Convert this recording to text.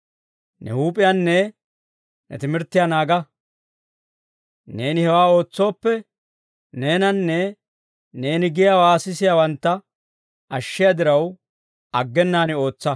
Ne huup'iyaanne ne timirttiyaa naaga. Neeni hewaa ootsooppe, neenanne neeni giyaawaa sisiyaawantta ashshiyaa diraw, aggenaan ootsa.